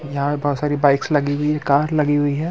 यहा पे बहुत सारी बाइक्स लगी हुई है कार लगी हुई है।